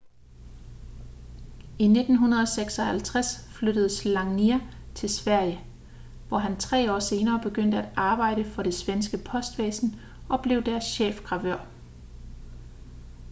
i 1956 flyttede słania til sverige hvor han tre år senere begyndte at arbejde for det svenske postvæsen og blev deres chefgravør